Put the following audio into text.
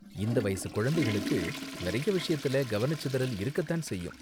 இந்த வயசு குழந்தைங்களுக்கு நறைய விஷயத்துல கவனச்சிதறல் இருக்க தான் செய்யும்.